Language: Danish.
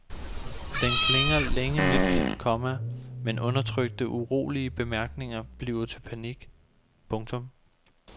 Den klinger længe mildt, komma men undertrykte urolige bemærkninger bliver til panik. punktum